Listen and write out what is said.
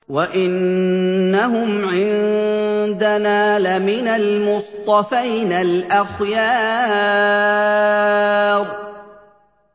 وَإِنَّهُمْ عِندَنَا لَمِنَ الْمُصْطَفَيْنَ الْأَخْيَارِ